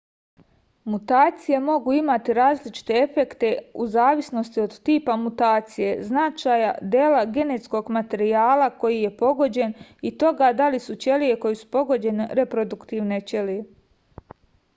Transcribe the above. mutacije mogu imati različite efekte u zavisnosti od tipa mutacije značaja dela genetskog materijala koji je pogođen i toga da li su ćelije koje su pogođene reproduktivne ćelije